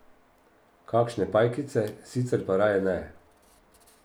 Kakšne pajkice, sicer pa raje ne.